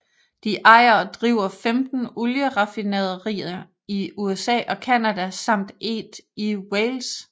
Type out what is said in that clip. De ejer og driver 15 olieraffinaderier i USA og Canada samt 1 i Wales